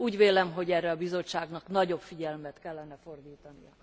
Úgy vélem, hogy erre a Bizottságnak nagyobb figyelmet kellene fordítania.